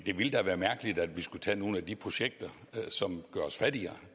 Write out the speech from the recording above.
det ville da være mærkeligt hvis vi skulle tage nogle af de projekter som gør os fattigere